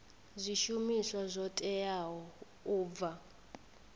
zwishumiswa zwo teaho u bva